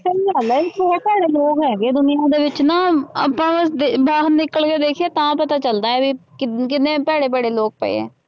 ਸਹੀ ਗੱਲ ਹੈ ਬਹੁ ਭੈੜੇ ਲੋਕ ਹੈਗੇ ਦੁਨੀਆਂ ਦੇ ਵਿੱਚ ਨਾ ਆਪਾਂ ਦੇ ਬਾਹਰ ਨਿਕਲ ਕੇ ਦੇਖੀਏ ਤਾਂ ਪਤਾ ਚੱਲਦਾ ਹੈ ਵੀ ਕਿ ਕਿੰਨੇ ਭੈੜੇ ਭੈੜੇ ਲੋਕ ਪਏ ਹੈ।